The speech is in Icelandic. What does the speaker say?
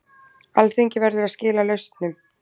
Alþingi verður að skila lausnum